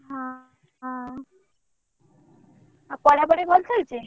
ହଁ ହଁ ଆଉ ପଢା ପଢି ଭଲ ଚାଲିଛି?